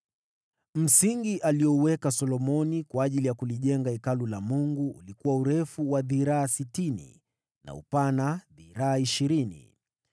Msingi aliouweka Solomoni kwa ajili ya kulijenga Hekalu la Mungu ulikuwa urefu wa dhiraa sitini na upana dhiraa ishirini.